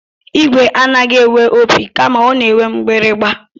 Igwe anaghị enwe opi kama ọ na-enwe mgbịrịgba